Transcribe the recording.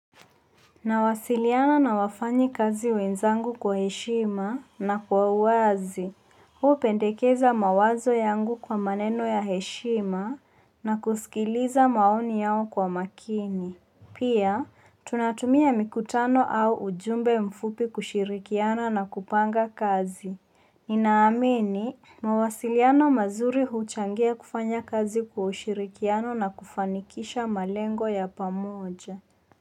Nawasiliana na wafanyikazi wenzangu kwa heshima na kwa uwazi. Hupendekeza mawazo yangu kwa maneno ya heshima na kusikiliza maoni yao kwa makini. Pia, tunatumia mikutano au ujumbe mfupi kushirikiana na kupanga kazi. Ninaamini, mawasiliano mazuri huchangia kufanya kazi kwa ushirikiano na kufanikisha malengo ya pamoja.